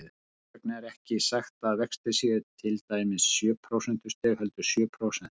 Þess vegna er ekki sagt að vextir séu til dæmis sjö prósentustig, heldur sjö prósent.